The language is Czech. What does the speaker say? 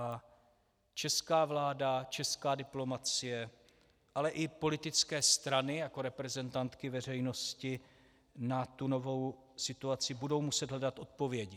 A česká vláda, česká diplomacie, ale i politické strany jako reprezentantky veřejnosti na tu novou situaci budou muset hledat odpovědi.